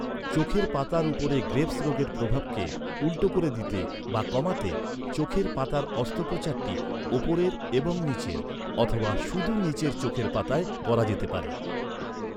চোখের পাতার উপরে গ্রেভস রোগের প্রভাবকে উল্টো করে দিতে বা কমাতে, চোখের পাতার অস্ত্রোপচারটি উপরের এবং নীচের অথবা শুধু নীচের চোখের পাতায় করা যেতে পারে।